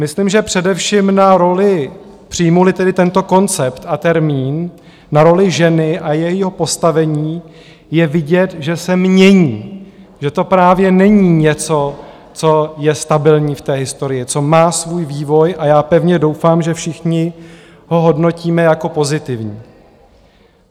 Myslím, že především na roli, přijmu-li tedy tento koncept a termín, na roli ženy a jejího postavení je vidět, že se mění, že to právě není něco, co je stabilní v historii, co má svůj vývoj, a já pevně doufám, že všichni ho hodnotíme jako pozitivní.